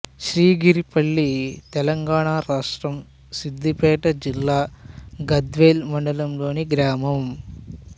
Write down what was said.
శ్రీగిరిపల్లి తెలంగాణ రాష్ట్రం సిద్ధిపేట జిల్లా గజ్వేల్ మండలంలోని గ్రామం